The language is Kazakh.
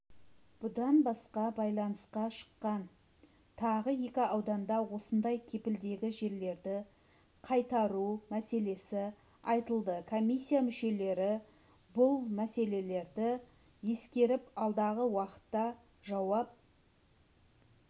бұдан басқа байланысқа шыққан тағы екі ауданда осындай кепілдегі жерлерді қайтару мәселесі айтылды комиссия мүшелері бұл мәселелерді ескеріп алдағы уақытта жауап